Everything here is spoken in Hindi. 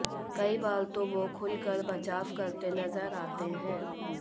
कई बार तो वो खुलकर बचाव करते नजर आते हैं